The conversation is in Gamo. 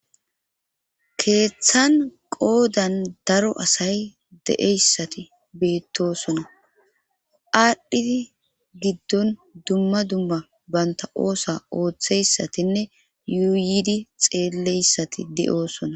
Keeththan qoodan daro asay de'eyssati beettosona aadhdhidi giddon dumma dumma banta oosa ooththeyssatinne yuuyidi xeelleyssati de'oosona